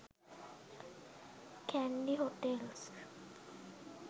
kandy hotels